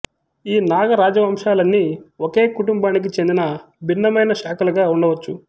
ఈ నాగ రాజవంశాలన్నీ ఒకే కుటుంబానికి చెందిన భిన్నమైన శాఖలుగా ఉండవచ్చు